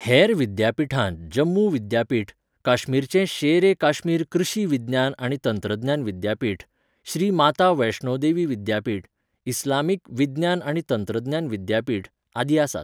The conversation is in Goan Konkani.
हेर विद्यापीठांत जम्मू विद्यापीठ, काश्मीरचें शेर ए काश्मीर कृशी विज्ञान आनी तंत्रज्ञान विद्यापीठ, श्री माता वैष्णो देवी विद्यापीठ, इस्लामिक विज्ञान आनी तंत्रज्ञान विद्यापीठ, आदी आसात.